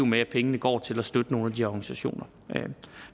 med at pengene går til at støtte nogle af de her organisationer